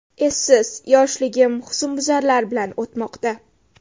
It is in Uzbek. Essiz, yoshligim husnbuzarlar bilan o‘tmoqda.